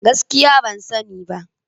Gaskiya! Ban sani ba.